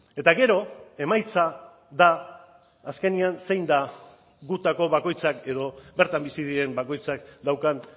eta gero emaitza da azkenean zein da gutako bakoitzak edo bertan bizi diren bakoitzak daukan